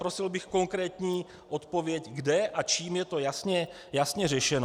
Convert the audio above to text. Prosil bych konkrétní odpověď, kde a čím je to jasně řešeno.